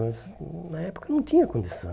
Nós hum na época não tinha condição.